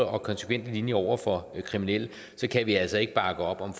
og konsekvente linje over for kriminelle kan vi altså ikke bakke op om